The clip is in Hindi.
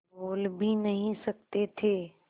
बोल भी नहीं सकते थे